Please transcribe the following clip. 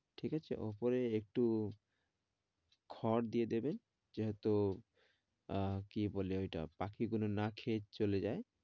ঠিক আছে উপরে একটু খড় দিয়ে দেবেন, যেহেতু আহ কি বলে ঐটা পাখিগুলো না খেয়ে চলে যায়।